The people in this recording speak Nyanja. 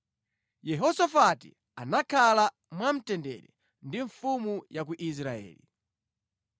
Yehosafati anakhala mwamtendere ndi mfumu ya ku Israeli.